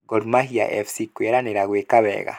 Gormahia FC kwĩranĩra gwĩka wega